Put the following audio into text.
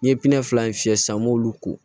N'i ye fila in fiyɛ sisan n b'olu ko